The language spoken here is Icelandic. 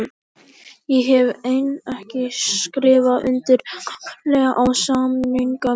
Ég hef enn ekki skrifað undir framlengingu á samningi mínum.